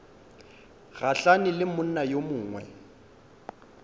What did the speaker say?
gahlane le monna yo mongwe